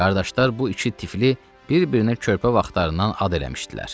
Qardaşlar bu iki tifli bir-birinə körpə vaxtlarından ad eləmişdilər.